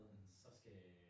Mhm